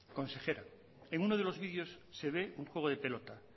consejera en unos de los vídeos se ve el juego de pelota